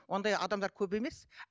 ондай адамдар көп емес